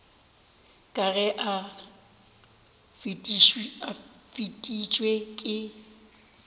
ka ge o fetišitšwe ke